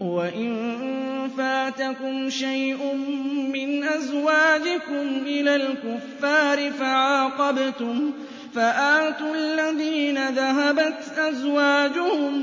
وَإِن فَاتَكُمْ شَيْءٌ مِّنْ أَزْوَاجِكُمْ إِلَى الْكُفَّارِ فَعَاقَبْتُمْ فَآتُوا الَّذِينَ ذَهَبَتْ أَزْوَاجُهُم